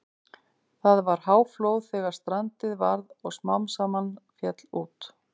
Það var háflóð þegar strandið varð og smám saman féll út.